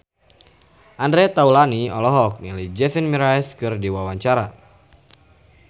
Andre Taulany olohok ningali Jason Mraz keur diwawancara